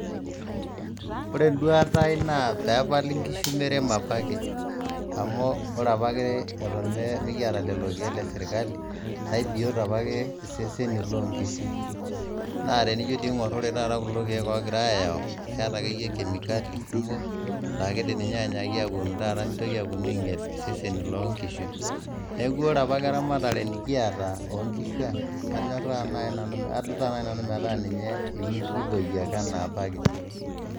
Ore eduaataa aai naa peepali nkishu meremo apake, amuu ore apake eton mikiata lelo kieek le sirkali naa ibiot iseseni loo nkishu naa tenijo dii aigorr kulo kiek Ogirae ayau keeta akeyie kemikali kumok, laa keidim ninye aanyaki aponu taata nitoki ainyal iseseni loo nkishu, neeku ore apake eramatare nikiata oo nkishu ang naa kanyorraa naai nanu, kadutaa naji nanu etaa ninye kipoyie naaji ana apake.